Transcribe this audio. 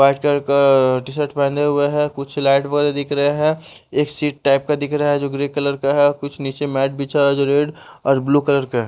white colour का T shirt पहने हुए हैं कुछ लाइट बरे दिख रहे हैं एक सीट टाइप का दिख रहा है जो ग्रे कलर का है कुछ नीचे मैट बिछा है जो रेड और ब्लू कलर का --